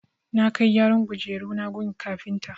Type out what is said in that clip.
Na kai gyaran kujeruna gun kafinta.